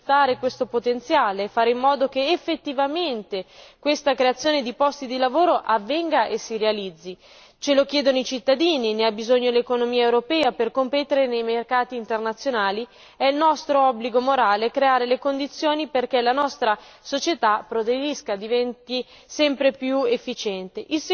La prima, innanzitutto bisogna sfruttare questo potenziale e fare in modo che effettivamente questa creazione di posti di lavoro avvenga e si realizzi ce lo chiedono i cittadini, ne ha bisogno l'economia europea, per competere nei mercati internazionali è nostro obbligo morale creare le condizioni perché la nostra società, progredisca, diventi